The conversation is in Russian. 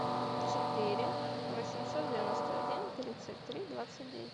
четыре восемьсот девяносто один тридцать три двадцать девять